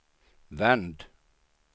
vänd